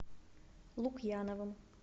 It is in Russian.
лукьяновым